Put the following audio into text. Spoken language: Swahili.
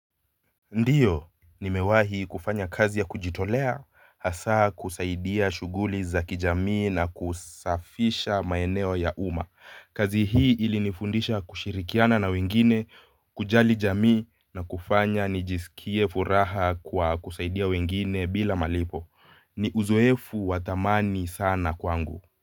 Ndiyo, nimewahi kufanya kazi ya kujitolea, hasa kusaidia shughuli za kijamii na kusafisha maeneo ya umma. Kazi hii ilinifundisha kushirikiana na wengine, kujali jamii na kufanya nijisikie furaha kwa kusaidia wengine bila malipo. Ni uzoefu wa thamani sana kwangu.